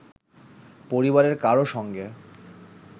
পরিবারের কারও সঙ্গে